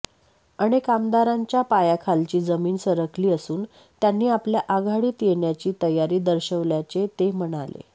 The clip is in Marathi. अनेक आमदारांच्या पायाखालची जमीन सरकली असून त्यांनी आपल्या आघाडीत येण्याची तयारी दर्शवल्याचे ते म्हणाले